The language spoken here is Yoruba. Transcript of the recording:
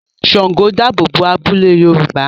Ṣàngó dáàbò bo abúlé Yorùbá